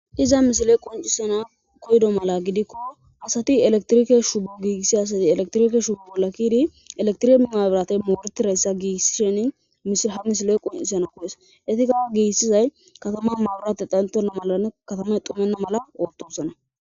Iza misile qoncisena koydo mala gidikko asati elektrike shuu giissi asati elektrike shuo bolakidi elektrim maabirate moortireyssa giissisheni mishila ha misile qoncisena koyes etika giissizay katama maabirate xantena malane katamay xumenna mala ootosana.